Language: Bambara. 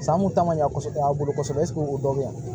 San kun ta man ɲa kosɛbɛ an bolo kosɛbɛ o dɔ bɛ yan